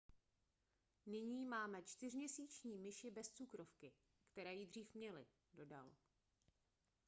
nyní máme čtyřměsíční myši bez cukrovky které ji dříve měly dodal